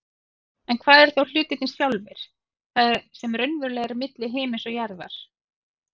En hvað eru þá hlutirnir sjálfir, það sem raunverulega er milli himins og jarðar?